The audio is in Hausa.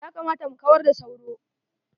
Ya kamata mu kawar da soro.